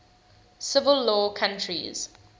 civil law countries